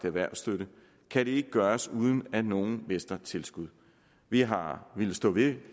erhvervsstøtte kan det ikke gøres uden at nogen mister tilskud vi har villet stå ved